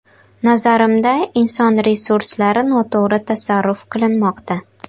Nazarimda, inson resurslari noto‘g‘ri tasarruf qilinmoqda.